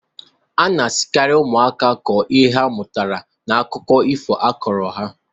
A na-asikarị ụmụaka kwuo ihe ha mụtara n'akụkọ ifo akọrọ ha.